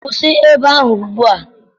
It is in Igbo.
Kwụsị ebe ahụ ugbua!